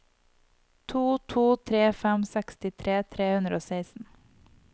to to tre fem sekstitre tre hundre og seksten